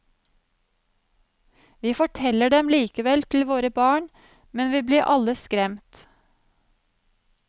Vi forteller dem likevel til våre barn, men vi blir alle skremt.